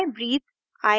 i breathe